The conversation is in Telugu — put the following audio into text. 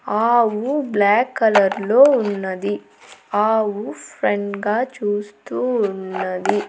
ఆవు బ్లాక్ కలర్ లో ఉన్నది. ఆవు ఫ్రెంట్ గా చూస్తూ ఉన్నది.